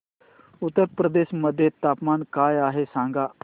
उत्तर प्रदेश मध्ये तापमान काय आहे सांगा